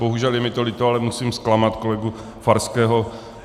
Bohužel, je mi to líto, ale musím zklamat kolegu Farského.